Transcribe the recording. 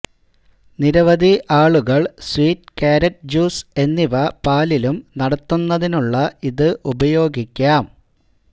നിരവധി ആളുകൾ sweet carrot juice എന്നിവ പാലിലും നടത്തുന്നതിനുള്ള ഇത് ഉപയോഗിക്കാം